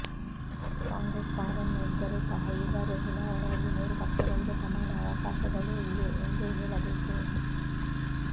ಕಾಂಗ್ರೆಸ್ ಪಾರಮ್ಯ ಇದ್ದರೂ ಸಹ ಈ ಬಾರಿಯ ಚುನಾವಣೆಯಲ್ಲಿ ಮೂರು ಪಕ್ಷಗಳಿಗೆ ಸಮಾನ ಅವಕಾಶಗಳೇ ಇವೆ ಎಂದೇ ಹೇಳಬೇಕು